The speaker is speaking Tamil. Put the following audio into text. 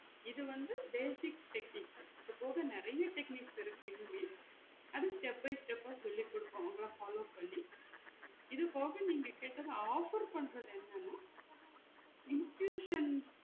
இது வந்து basic technique இது போக நெறையா techniques கிடைக்கின்றி அத step by steps ஆ சொல்லி குடுப்பாங்க ஒங்கள follow பண்ணி இது போக நீங்க கேட்டது offer பண்ரது என்னான்ன insturion